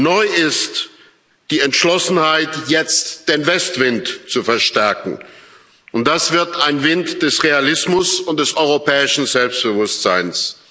Neu ist die Entschlossenheit, jetzt den Westwind zu verstärken, und das wird ein Wind des Realismus und des europäischen Selbstbewusstseins.